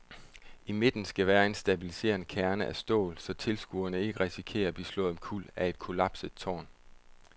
I midten skal være en stabiliserende kerne af stål, så tilskuere ikke risikerer at blive slået omkuld af et kollapset tårn.